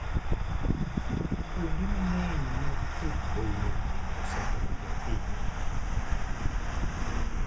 Kuonde mang'eny mag det-bonyo osedonjo e pinywa.